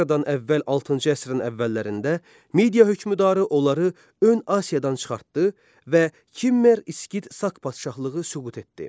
Eradan əvvəl altıncı əsrin əvvəllərində Midiya hökmdarı onları ön Asiyadan çıxartdı və Kimmer İskit Saq padşahlığı süqut etdi.